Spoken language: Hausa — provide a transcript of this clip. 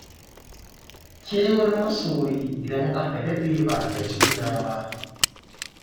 Kewar masoyi idan aka daɗe ba a ga juna ba.